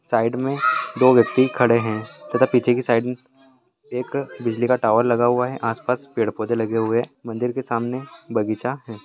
Side में दो व्यक्ति खड़े हैं तथा पीछे के साइड में एक बिजली का टावर लगा हुआ है आस-पास पेड़-पौधे लगे हुए हैं मंदिर के सामने बगीचा है।